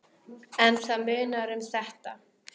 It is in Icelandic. Kiddi hlær.